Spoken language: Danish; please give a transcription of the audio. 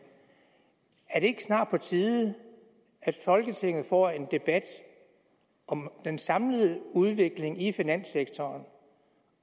er det ikke snart på tide at folketinget får en debat om den samlede udvikling i finanssektoren